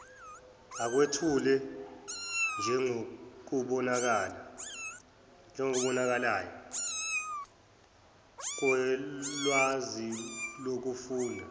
akwethulwe njengokubonakalayo kolwazilokufunda